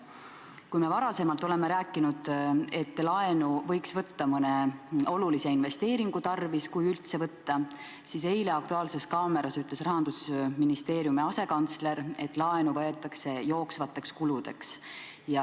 Kui me varem oleme rääkinud, et laenu võiks võtta mõne olulise investeeringu tarvis, kui üldse võtta, siis eile "Aktuaalses kaameras" ütles Rahandusministeeriumi asekantsler, et laenu võetakse jooksvateks kuludeks.